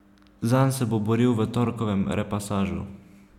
Zanj se bo boril v torkovem repasažu.